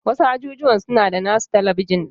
Wasu ajujuwan suna da nasu talabijin din.